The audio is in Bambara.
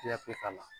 Fiyɛ k'a la